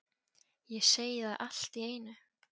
Ég segi það allt í einu